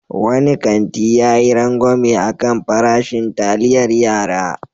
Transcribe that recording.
Wani kanti ya yi rangwame a kan farashin taliayar yara.